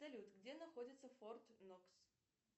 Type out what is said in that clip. салют где находится форт нокс